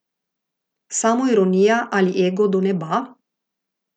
Samoironija ali ego do neba?